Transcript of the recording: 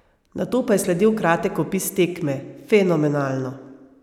Nato pa je sledil kratek opis tekme: "Fenomenalno.